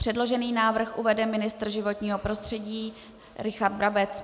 Předložený návrh uvede ministr životního prostředí Richard Brabec.